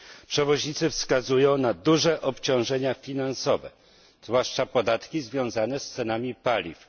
Przewoźnicy wskazują na duże obciążenia finansowe, zwłaszcza podatki związane z cenami paliw.